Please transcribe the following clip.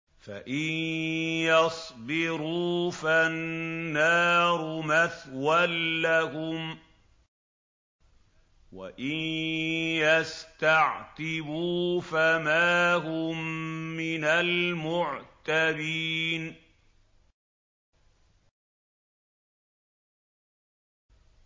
فَإِن يَصْبِرُوا فَالنَّارُ مَثْوًى لَّهُمْ ۖ وَإِن يَسْتَعْتِبُوا فَمَا هُم مِّنَ الْمُعْتَبِينَ